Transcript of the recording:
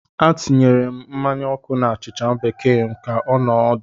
Ana m etinye mmanya ọkụ na achịcha bekee ka ọ nọọ ọdụ.